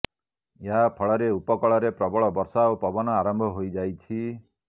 ଏହା ଫଳରେ ଉପକୂଳରେ ପ୍ରବଳ ବର୍ଷା ଓ ପବନ ଆରମ୍ଭ ହୋଇଯାଇଛି